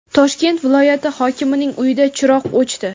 Toshkent viloyati hokimining uyida chiroq o‘chdi.